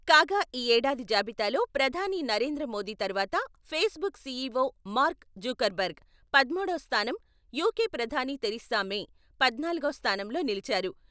కాగా ఈ ఏడాది బాబితాలో ప్రధాని నరేంద్ర మోదీ తరువాత, ఫేస్‌బుక్ సీఈవో మార్క్ జుకర్బర్గ్ పదమూడో స్థానం, యూకే ప్రధాని థెరిసా మే పద్నాలుగవ స్థానంలో నిలిచారు.